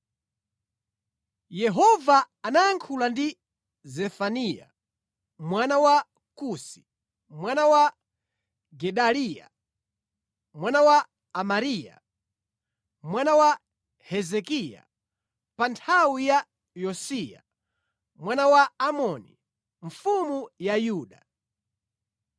Yehova anayankhula ndi Zefaniya mwana wa Kusi, mwana wa Gedaliya, mwana wa Amariya, mwana wa Hezekiya pa nthawi ya Yosiya, mwana wa Amoni, mfumu ya Yuda.